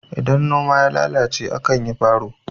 idan noma ya lalace a kan yi faro